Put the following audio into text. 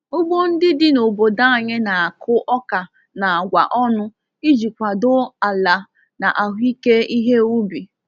Ugbo ndị dị n’obodo anyị na-akụ ọka na agwa ọnụ iji kwado ala na ahụike ihe ubi.